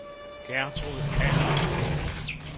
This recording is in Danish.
Gertrud Adamsen